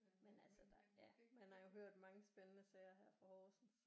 Men altså der ja man har jo hørt mange spændende sager her fra Horsens